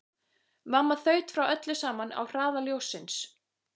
Mamma þaut frá öllu saman á hraða ljóssins.